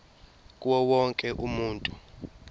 kuwo wonke umuntu